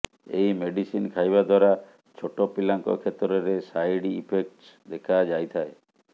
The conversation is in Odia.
ଏହି ମେଡିସିନ ଖାଇବା ଦ୍ବାରା ଛୋଟପିଲାଙ୍କ କ୍ଷେତ୍ରରେ ସାଇଡ ଇଫେକ୍ଟସ ଦେଖାଯାଇଥାଏ